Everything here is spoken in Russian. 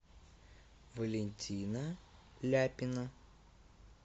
валентина ляпина